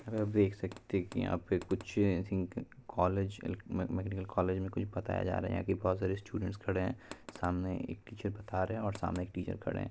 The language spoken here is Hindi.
और आप देख सकते है कि यहाँ पे कुछ I think college medical college में कुछ बताया जा रहा है यहाँ पर बहुत सारे स्टूडेंट्स खड़े हैं सामने एक टीचर बता रहे हैं और सामने एक टीचर खड़े हैं।